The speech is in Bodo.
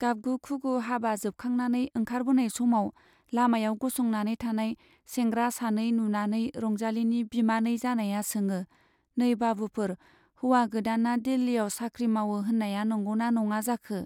गाबगु-खुगु हाबा जोबखांनानै ओंखारबोनाय समाव लामायाव गसंनानै थानाय सेंग्रा सानै नुनानै रंजालीनि बिमानै जानाया सोङो, नै बाबुफोर, हौवा गोदाना दिल्लीयाव साख्रि मावो होन्नाया नंगौ ना नङा जाखो ?